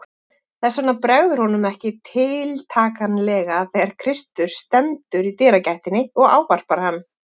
Þess vegna bregður honum ekki tiltakanlega þegar Kristur stendur í dyragættinni og ávarpar hann.